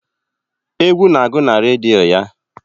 Egwu na-agụ na redio ya.